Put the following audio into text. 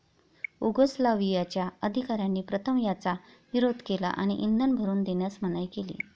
उगोस्लावियाच्या अधिकाऱ्यांनी प्रथम याचा विरोध केला आणि इंधन भरून देण्यास मनाई केली.